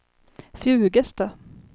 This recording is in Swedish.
Fjugesta